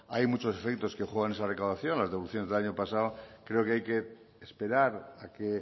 hay muchos efectos que juegan esa declaración las deducciones del año pasado creo que hay que esperar a que